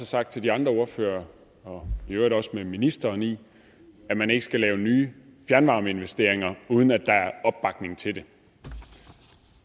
sagt til de andre ordførere med ministeren i at man ikke skal lave nye fjernvarmeinvesteringer uden at der er opbakning til det